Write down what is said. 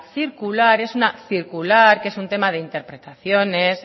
circular es una circular que es un tema de interpretaciones